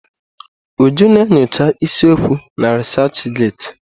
Uju na enyocha isi okwu na resachị getị.